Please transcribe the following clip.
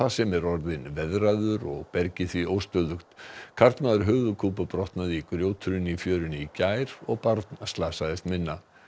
sem er orðinn veðraður og bergið því óstöðugt karlmaður höfuðkúpubrotnaði í grjóthruni í fjörunni í gær og barn slasaðist minna